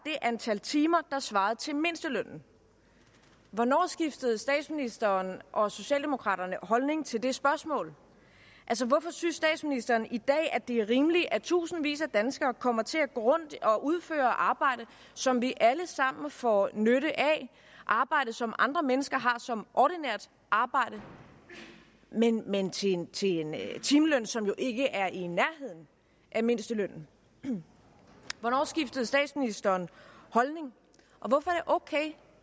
antal timer der svarede til mindstelønnen hvornår skiftede statsministeren og socialdemokraterne holdning til det spørgsmål altså hvorfor synes statsministeren i dag at det er rimeligt at i tusindvis af danskere kommer til at gå rundt og udføre arbejde som vi alle sammen får nytte af arbejde som andre mennesker har som ordinært arbejde men men til en timeløn timeløn som jo ikke er i nærheden af mindstelønnen hvornår skiftede statsministeren holdning og hvorfor er det okay